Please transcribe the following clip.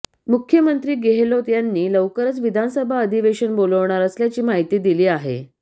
मुख्यमंत्री गेहलोत यांनी लवकरच विधानसभा अधिवेशन बोलावणार असल्याची माहिती दिली आहे